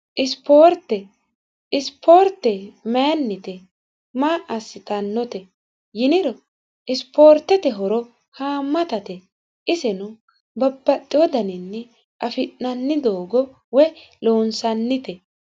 rteisipoorte maennite maa assitannote yiniro isipoortete horo haammatate isino babbaxxiodaninni afi'nanni doogo woy loonsannite